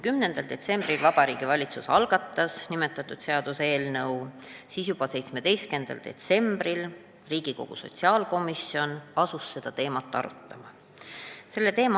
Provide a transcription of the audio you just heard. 10. detsembril Vabariigi Valitsus algatas selle seaduseelnõu ja juba 17. detsembril Riigikogu sotsiaalkomisjon asus seda teemat arutama.